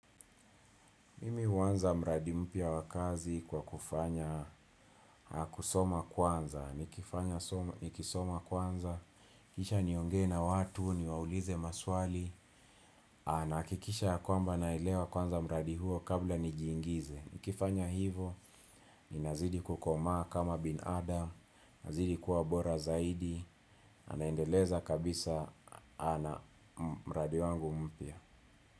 Mimi huanza mradi mpya wakazi kwa kufanya, kusoma kwanza, nikifanya nikisoma kwanza, kisha niongee na watu, niwaulize maswali, na hakikisha ya kwamba naelewa kwanza mradi huo kabla nijiingize. Nikifanya hivyo, ni nazidi kukomaa kama binadamu, nazidi kuwa bora zaidi, na naendeleza kabisa na mradi wangu mpya.